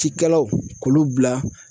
Cikɛlaw k'olu bila.